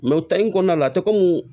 o tari in kɔnɔna la